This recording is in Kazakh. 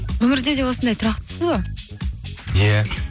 өмірде де осындай тұрақтысыз ба иә